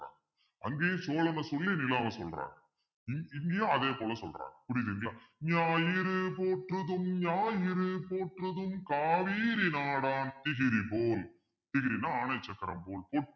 அங்கேயும் சோழனை சொல்லி நிலாவை சொல்றான் இங்~ இங்கேயும் அதே போல சொல்றான் புரியலைங்களா ஞாயிறு போற்றுதும் ஞாயிறு போற்றுதும் காவேரி நாடான் திகிரி போல் திகிரின்னா ஆணைய சக்கரம் போல்